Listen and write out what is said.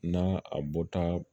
N'a a bɔta